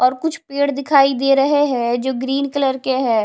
और कुछ पेड़ दिखाई दे रहे है जो ग्रीन कलर के है।